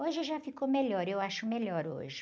Hoje já ficou melhor, eu acho melhor hoje.